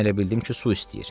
Mən elə bildim ki, su istəyir.